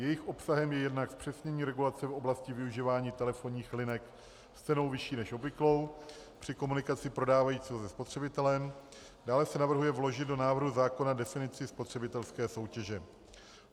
Jejich obsahem je jednak zpřesnění regulace v oblasti využívání telefonních linek s cenou vyšší než obvyklou při komunikaci prodávajícího se spotřebitelem, dále se navrhuje vložit do návrhu zákona definici spotřebitelské soutěže.